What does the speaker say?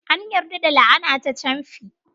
An yarda da la'ana ta camfi.